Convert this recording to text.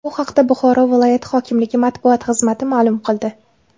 Bu haqda Buxoro viloyat hokimligi matbuot xizmati ma’lum qildi .